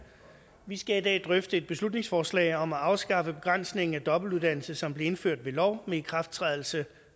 vi skal i dag drøfte et beslutningsforslag om at afskaffe begrænsningen af dobbeltuddannelse som blev indført ved lov med ikrafttrædelse